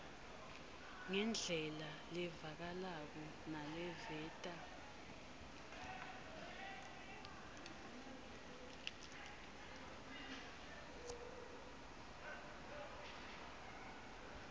ngendlela levakalako naleveta